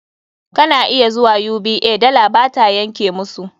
Kana iya zuwa UBA, dala ba ta yanke musu.